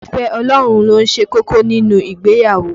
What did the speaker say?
Ìfẹ́ Ọlọ́run ló ṣe kókó nínú ìgbéyàwó